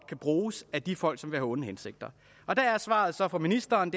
kan bruges af de folk som har onde hensigter der er svaret så fra ministeren